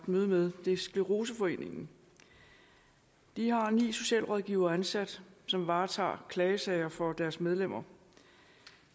møde med det er scleroseforeningen de har ni socialrådgivere ansat som varetager klagesager for deres medlemmer